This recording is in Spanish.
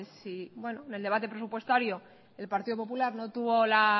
si en el debate presupuestario en partido popular no tuvo